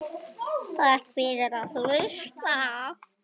Takk fyrir að hlusta.